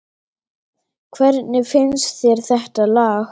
Hvernig finnst þér þetta lag?